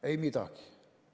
Ei midagi!